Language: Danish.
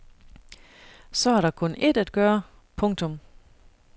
Så er der kun ét at gøre. punktum